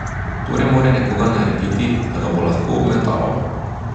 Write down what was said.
Torej mora nekoga narediti, da ga bo lahko obmetaval.